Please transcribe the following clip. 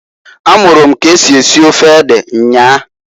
A mụrụ m k'esi esi ofe ede nnyaa.